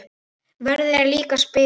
Verðin eru líka svipuð.